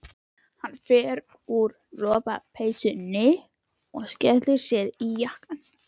Hann fer úr lopapeysunni og skellir sér í jakkann.